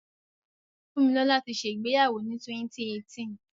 Fúnmilọ́là ti ṣẹ ìgbéyàwó ni 2018.